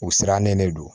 U sirannen de don